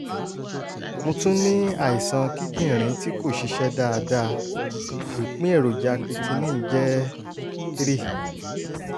- mo tún ní àìsàn kíndìnrín tí kò ṣiṣẹ́ dáadáa (ìpín èròjà creatine jẹ́ 3